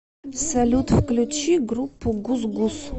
салют включи группу гусгус